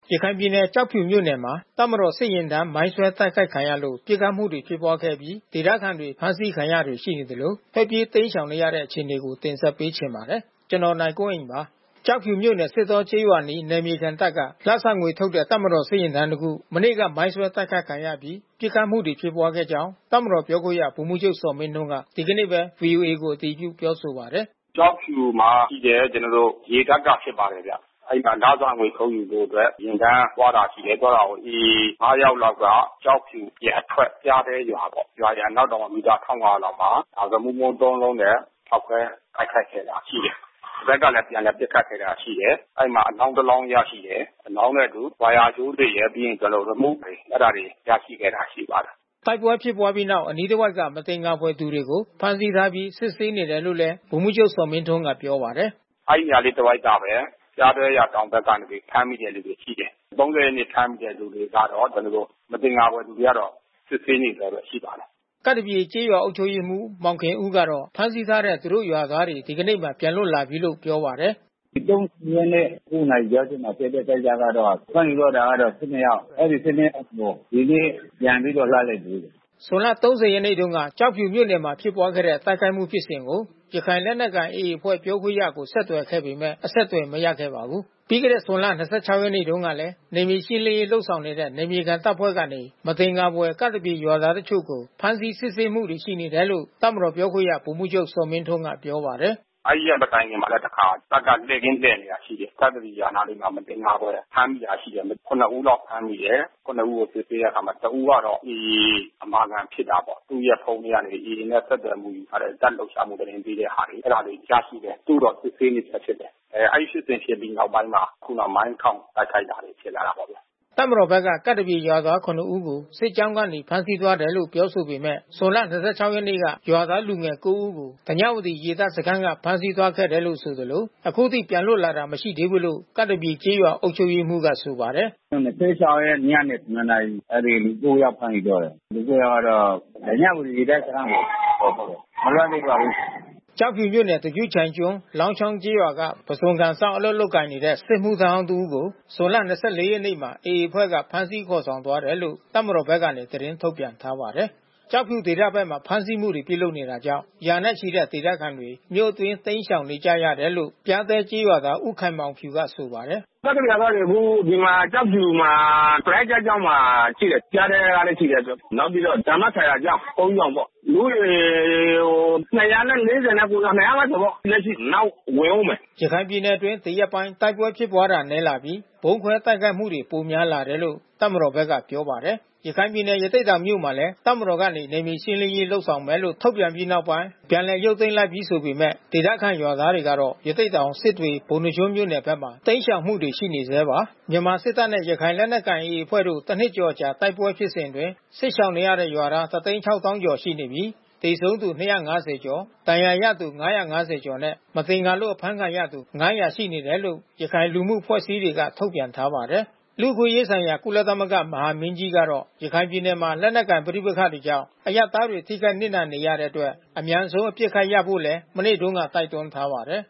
ရခိုင်ပြည်နယ်၊ ကျောက်ဖြူမြို့နယ်မှာ တပ်မတော်စစ်ယာဉ်တန်းမိုင်းဆွဲ တိုက်ခိုက်ခံလို့ ပစ်ခတ်မှု ဖြစ်ပွားခဲ့အပြီး ဒေသခံတွေ ဖမ်းဆီးခံရတာတွေ ရှိနေသလို၊ ထွက်ပြေးတိမ်းရှောင်နေကြတဲ့ အခြေအနေကို ဗွီအိုအေမြန်မာပိုင်းသတင်းထောက် ကိုနိုင်ကွန်းအိန်က တင်ဆက်ပေးပါမယ်။ ကျောက်ဖြူမြို့နယ် စစ်တောကျေးရွာအနီး နယ်မြေခံတပ်က လစာငွေထုတ်တဲ့ တပ်မတော်ယာဉ်တန်းတစ်ခု မနေ့က မိုင်းဆွဲတိုက်ခိုက်ခံရအပြီး ပစ်ခတ်မှု ဖြစ်ပွားခဲ့ကြောင်း တပ်မတော်ပြောခွင့်ရ ဗိုလ်မှူးချုပ်ဇော်မင်းထွန်းက ဒီကနေ့ပဲ ဗွီအိုအေကို အတည်ပြု ပြောဆိုပါတယ်။ “ကျောက်ဖြူမှာရှိတဲ့ ကျနော်တို့ ရေတပ်ကဖြစ်ပါတယ်ဗျ။ အဲဒီမှာလစာငွေ ထုတ်ယူဖို့အတွက် ယာဉ်တန်းသွားတာ ရှိတယ်။ သွားတာကို AA ငါး ယောက်လောက်က ကျောက်ဖြူကအထွက် ပျားတဲရွာပေါ့။ ရွာရဲ့ အနောက်တောင်မီတာ ၁,၅၀၀ လောက်မှာ ရီမုမိုင်း သုံးလုံးနဲ့ ဖေါက်ခွဲတိုက်ခိုက်ခဲ့တာ ရှိတယ်။ ဒီဘက်ကလည်း ပြန်လည် ပစ်ခတ်ခဲ့တာရှိတယ်။ အဲဒီမှာအလောင်းတလောင်း ရရှိတယ်။ အလောင်းနဲ့အတူ ဝါယာကြိုးတွေရယ်၊ ပြီးရင် ကျနော်တို့ ရီမုတွေ။ အဲတာတွေ ရမိခဲ့တာ ရှိပါတယ်။" တိုက်ပွဲဖြစ်ပွားပြီးနောက် အနီးတဝိုက်က မသင်္ကာဖွယ်သူတွေကို ဖမ်းဆီးထားပြီး စစ်ဆေးနေတယ်လို့လည်း ဗိုလ်မှူးချုပ်ဇော်မင်းထွန်းကပြောပါတယ်။ “အဲဒီနေရာလေးတဝိုက်ကဘဲ ပျားတဲရွာတောင်ဘက်ကနေ ဖမ်းမိတဲ့သူတွေ ရှိတယ်။ ၃၀ ရက်နေ့ဖမ်းမိတဲ့သူတွေကတော့ ကျနော်တို့ မသင်္ကာဖွယ်လူတွေကတော့ စစ်ဆေးနေဆဲပဲ ရှိပါတယ်။” ကပ်သပြေကျေးရွာအုပ်ချုပ်ရေးမှူး မောင်ခင်ဦးကတော့ ဖမ်းဆီးထားတဲ့ သူတို့ ရွာသားတွေ ဒီကနေ့မှာ ပြန်လွတ်လာပြီလို့ ပြောပါတယ်။ “၃၀ ရက်နေ့ ၁၂ ခွဲမှာ ဖြစ်တဲ့ကိစ္စကတော့ ဖမ်းယူသွားတာကတော့ ၁၂ ယောက်။ အဲဒီ ၁၂ ယောက်ကို ဒီနေ့ ပြန်ပြီးတော့ လွှတ်လိုက်ပြီ။” ဇွန်လ ၃၀ ရက်နေ့ကျောက်ဖြူမြို့နယ်မှာ ဖြစ်ပွားတဲ့ တိုက်ခိုက်မှု ဖြစ်စဉ်ကို ရခိုင်လက်နက်ကိုင် AA အဖွဲ့ပြောခွင့်ရကို ဆက်သွယ်ခဲ့ပေမဲ့ အဆက်သွယ်မရခဲ့ပါဘူး။ ပြီးခဲ့တဲ့ ဇွန်လ ၂၆ ရက်တုန်းကလည်း နယ်မြေရှင်းလင်းရေး လုပ်ဆောင်နေတဲ့ နယ်မြေခံတပ်ဖွဲ့တွေကနေ မသင်္ကာဖွယ် ကပ်သပြေရွာသား တချို့ကို ဖမ်းဆီးစစ်ဆေးမှုတွေ ရှိနေတယ်လို့ တပ်မတော်ပြောခွင့်ရ ဗိုလ်မှူးချုပ်ဇော်မင်းထွန်းက ပြောပါတယ်။ “အဲဒီရက်မတိုင်ခင်ကလည်းပဲ တခါ တပ်က လှည့်ကင်းလှဲ့နေတာ ရှိတယ်။ ကပ်သပြေရွာအနားလေးမှာ မသင်္ကာဖွယ် ဖမ်းမိတာရှိတယ်။ ၇ ဦးလောက်ဖမ်းမိတယ်။ ၇ ဦးကို စစ်ဆေးတဲ့နေရာမှာ တဦးကတော့ AA အမာခံဖြစ်တာပေါ့။ သူ့ရဲ့ ဖုန်းထဲက AA နဲ့ ဆက်သွယ်ယူထားတဲ့ တပ်လှုပ်ရှားမှုသတင်းပေးတဲ့ဟာတွေ အဲတာတွေ ရရှိတယ်။ သူ့ကိုတော့ စစ်ဆေးနေဆဲဖြစ်တယ်။ အဲဒီဖြစ်စဉ်ဖြစ်ပြီးနောက်ပိုင်းမှာ ခုဏ မိုင်းထောင်တိုက်ခိုက်တာတွေ ဖြစ်လာတာပေါ့ဗျာ။” တပ်မတော်ဘက်က ကပ်သပြေရွာသား ၇ ဦးကို စစ်ကြောင်းကနေ ဖမ်းသွားတယ်လို့ ပြောဆိုနေပေမဲ့ ဇွန်လ ၂၆ ရက် နေ့က ရွာသား လူငယ်ကိုးဦးကို ဓညဝတီရေတပ်စခန်းက ဖမ်းဆီးသွားခဲ့တယ်လို့ဆိုသလို အခုထိ ပြန်လွတ်လာတာ မရှိသေးဘူးလို့ ကပ်သပြေကျေးရွာအုပ်ချုပ်ရေးမှူးက ဆိုပါတယ်။ “၂၆ ရက်နေ့ ညနေ ၇ နာရီ အဲဒီလူ ကိုးယောက် ဖမ်းဆီးသွားတယ်။ လူ ကိုးယောက်ကတော့ ဓညဝတီရေတပ်စခန်းကပေါ့ ခေါ်သွားတယ်။ မလွတ်သေးပါဘူး။” ကျောက်ဖြူမြို့နယ်၊ သပြုချိုင်ကျွန်း၊ လောင်းချောင်းကျေးရွာက ပုဇွန်ကန်စောင့် အလုပ်လုပ်ကိုင်နေတဲ့ စစ်မှုထမ်းဟောင်း တစ်ဦးကို ဇွန် ၂၄ ရက်မှာ AA အဖွဲ့က ဖမ်းဆီးခေါ်ဆောင်သွားတယ်လို့ တပ်မတော်ဘက်က သတင်းထုတ်ပြန်ထားပါတယ်။ ကျောက်ဖြူဒေသဘက်မှာ ဖမ်းဆီးမှုတွေ ပြုလုပ်နေတာကြောင့် ရာနဲ့ ချီတဲ့ဒေသခံတွေ မြို့အတွင်းတိမ်းရှောင်နေကြရတယ်လို့ ပျားတဲကျေးရွာသား ဦးခိုင်မောင်ဖြူက ဆိုပါတယ်။ “ကပ်သပြေရွာသားတွေ အခုဒီမှာ ကျောက်ဖြူမှာ ပရဟိတကျောင်းမှာ ရှိတယ်။ ပျားတဲကလဲရှိတယ်။ မောက်ပြီးတော့ ဓမ္မဆာယာကျောင်း။ ဘုန်းကြီးကျောင်းပေါ့။ လူဦးရေ ၂၄၉ ယောက် ၂၅၀ ပေါ့။ လက်ရှိ နောက်ဝင်ဦးမယ်။” ရခိုင်ပြည်နယ်အတွင်း ဒီရက်ပိုင်း တိုက်ပွဲဖြစ်ပွားတာ နည်းလာပြီး၊ ဗုံးခွဲတိုက်ခိုက်မှုတွေ ပိုများလာတယ်လို့ တပ်မတော်ဘက်ကပြောပါတယ်။ ရခိုင်ပြည်နယ် ရသေ့တောင်မြို့နယ်မှာလည်း တပ်မတော်ကနေ နယ်မြေရှင်းလင်းရေးလုပ်ဆောင်မယ်လို့ ထုတ်ပြန်ပြီး နောက်ပိုင်း ပြန်လည်ရုပ်သိမ်းလိုက်ပြီး ဆိုပေမဲ့ ဒေသခံရွာသားတွေကတော့ ရသေ့တောင်၊ စစ်တွေ၊ ပုဏ္ဏားကျွန်းမြို့ နယ်ဘက်မှာ တိမ်းရှောင်မှုတွေရှိနေဆဲပါ။ မြန်မာစစ်တပ်နဲ့ ရခိုင်လက်နက်ကိုင် AA အဖွဲ့တို့ တနှစ်ကျော်အကြာ တိုက်ပွဲဖြစ်စဉ်အတွင်း စစ်ရှောင်နေရတဲ့ ရွာသား ၁၆၀,၀၀၀ ကျော် ရှိနေပြီး သေဆုံးသူ ၂၅၀ ကျော် ဒဏ်ရာရသူ ၅၅၀ ကျော်နဲ့ မသင်္ကာလို့ အဖမ်းခံရတဲ့သူ ၅၀၀ ရှိနေတယ်လို့ ရခိုင်လူမှုအဖွဲ့အစည်းတွေက ထုတ်ပြန်ထားပါတယ်။ လူ့အခွင့်အရေးဆိုင်ရာ ကုလသမဂ္ဂ မဟာမင်းကြီးကတော့ ရခိုင်ပြည်နယ်မှာ လက်နက်ကိုင် ပဋိပက္ခတွေကြောင့် အရပ်သားတွေ ထိခိုက်နစ်နာနေရတဲ့အတွက် အမြန်ဆုံး အပစ်အခတ်ရပ်ဖို့လည်း မနေ့တုန်းကပဲ တိုက်တွန်းထားပါတယ်